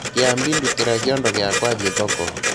Kĩambi ndutĩra kiondo giakwa thiĩ thoko.